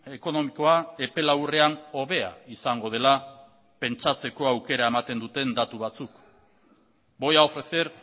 ekonomikoa epe laburrean hobea izango dela pentsatzeko aukera ematen duten datu batzuk voy a ofrecer